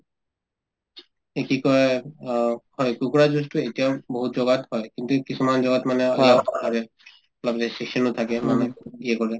এই কি কই অ হয় কুকুৰা যুঁজতো এতিয়াও বহুত জগাত হয় কিন্তু এই কিছুমান জগাত মানে অলপ restriction ত থাকে মানুহে কৰে